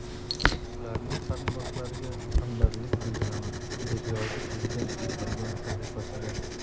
Ularning qarindoshlariga hamdardlik bildiraman”, deb yozdi prezident Twitter’dagi sahifasida.